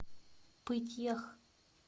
пыть ях